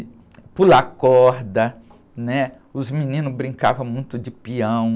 Pular corda, né? Os meninos brincavam muito de peão.